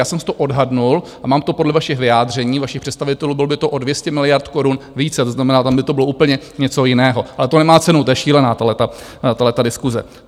Já jsem si to odhadl a mám to podle vašich vyjádření, vašich představitelů, bylo by to o 200 miliard korun více, to znamená, tam by to bylo úplně něco jiného, ale to nemá cenu, to je šílená tahleta diskuse.